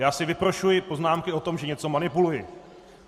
Já si vyprošuji poznámky o tom, že něco manipuluji.